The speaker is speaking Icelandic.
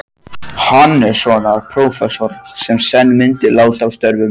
Hannessonar, prófessors, sem senn myndi láta af störfum.